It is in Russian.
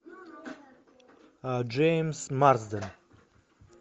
джеймс марсден